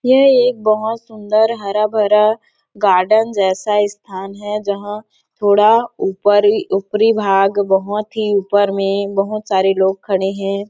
यह एक बहोत सुंदर हर गार्डन जैसा स्थान है जहाँ थोड़ा ऊपर ही ऊपरी भाग बहोत ही ऊपर में बहोत सारे लोग खड़े है।